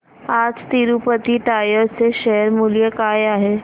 आज तिरूपती टायर्स चे शेअर मूल्य काय आहे